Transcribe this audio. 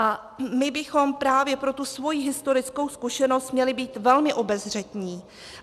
A my bychom právě pro tu svoji historickou zkušenost měli být velmi obezřetní.